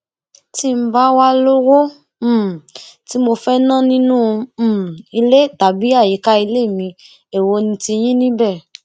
tí n bá wàá lówó um tí mo fẹẹ ná nínú um ilé tàbí àyíká ilé mi èwo ni tiyín níbẹ